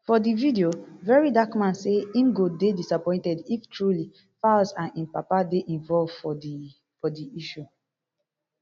for di video very dark man say im go dey disappointed if truly falz and im papa dey involved for di di issue